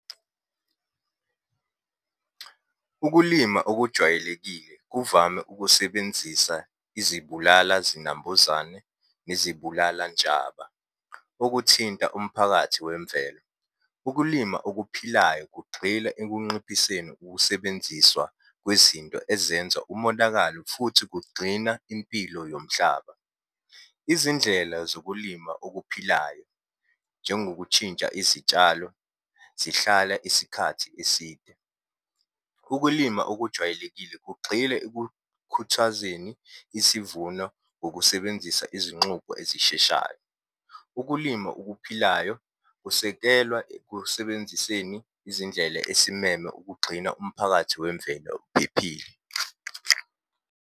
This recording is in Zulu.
Ukulima okujwayelekile kuvame ukusebenzisa izibulala zinambuzane nezibulala ntshaba, okuthinta umphakathi wemvelo. Ukulima okuphilayo kugxila ekunqiphiseni ukusebenziswa kwizinto ezenza umonakalo, futhi kugxina impilo yomhlaba. Izindlela zokulima okuphilayo, njengokutshintsha izitshalo zihlala isikhathi eside. Ukulima okujwayelekile kugxile ekukhuthazeni isivuno ngokusebenzisa izinxubo ezisheshayo. Ukulima okuphilayo kusekelwa ekusebenziseni izindlela esimeme ukugxina umphakathi wemvelo uphephile.